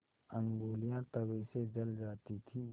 ऊँगलियाँ तवे से जल जाती थीं